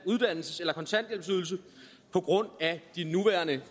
uddannelses eller kontanthjælpsydelse på grund af de nuværende